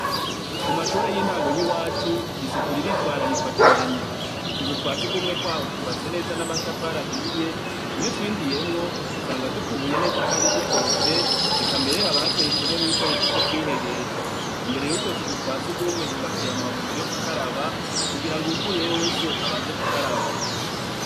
kumashure y'intango y'iwacu isuku riritwararikwa cane utuzu twasugumwe twaho twubatse neza n'amatafari ahiye iyo utwinjiyemwo usanga dukubuye neza kandi tukorofye eka mbere hakaba hateretwemwo ibikoresho vyokwihehesha imbere yutwo tuzu twazugumwe hubakiye amabombo yo gukaraba kugira uwuvuyeyo wese abanze gukaraba